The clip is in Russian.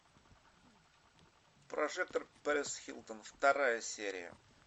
прожекторперисхилтон вторая серия